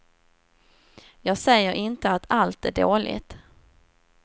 Jag säger inte att allt är dåligt.